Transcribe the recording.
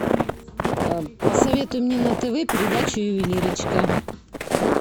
посоветуй мне на тв передачу ювелирочка